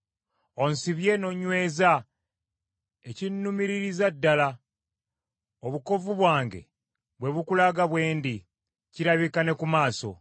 Onsibye n’onyweza ekinnumiririza ddala, obukovvu bwange bwe bukulaga bwe ndi, kirabika ne ku maaso.